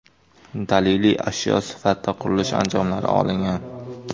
Daliliy ashyo sifatida qurilish anjomlari olingan.